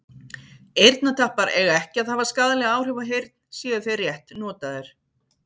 eyrnatappar eiga ekki að hafa skaðleg áhrif á heyrn séu þeir rétt notaðir